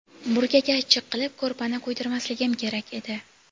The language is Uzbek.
Burgaga achchiq qilib ko‘rpani kuydirmasligim kerak edi.